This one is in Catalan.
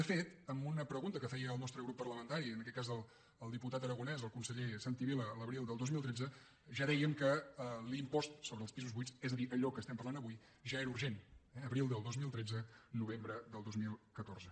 de fet en una pregunta que feia el nostre grup parlamentari en aquest cas el diputat aragonès al conseller santi vila l’abril del dos mil tretze ja dèiem que l’impost sobre els pisos buits és a dir allò que estem parlant avui ja era urgent eh abril del dos mil tretze novembre del dos mil catorze